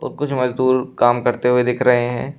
और कुछ मजदूर काम करते हुए दिख रहे हैं।